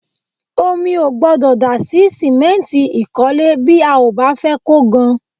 Omi ò gbọ́dọ̀ dà sí sìmẹ́ǹtì ìkọ́lé bí a ò bá fẹ́ kó gan